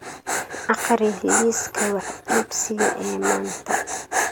akhri liiska wax iibsiga ee maanta